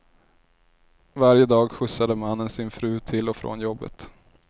Varje dag skjutsade mannen sin fru till och från jobbet.